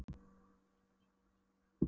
Það bólaði ekkert á svarta sendiferðabílnum.